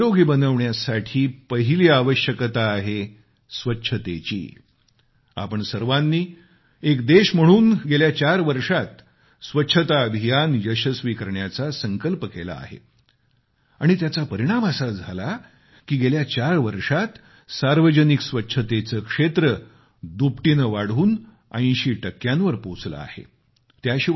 आयुष्य निरोगी बनवण्यासाठी पहिली आवश्यकता आहे स्वच्छतेची आपण सर्वानी एक देश म्हणून गेल्या चार वर्षात स्वच्छता अभियान यशस्वी करण्याचा संकल्प केला आहे आणि त्याचा परिणाम असा झाला की गेल्या चार वर्षात सार्वजनिक स्वच्छतेचे क्षेत्र दुपटीने वाढून 80 टक्क्यांवर पोचले आहे